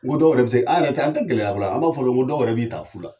N ko dɔw yɛrɛ bɛ se, an yɛrɛ ta an tɛ gɛlɛya fɔla, an b'a fɔ dɔrɔn dɔw yɛrɛ b'i ta fu la.